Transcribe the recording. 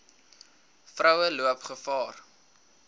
vroue loop gevaar